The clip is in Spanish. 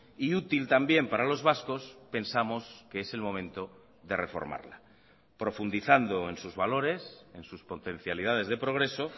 y útil también para los vascos pensamos que es el momento de reformarla profundizando en sus valores en sus potencialidades de progreso